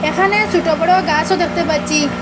এখানে ছুটো বড় গাসও দেখতে পাচ্ছি।